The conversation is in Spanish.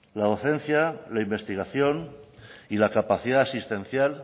la docencia la investigación y la capacidad asistencial